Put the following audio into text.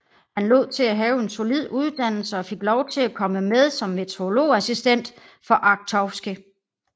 Han lod til at have en solid uddannelse og fik lov til at komme med som meteorologiassistent for Arctowski